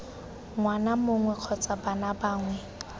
ngwana mongwe kgotsa bana bangwe